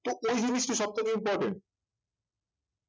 তো ওই জিনিসটি সব থেকে important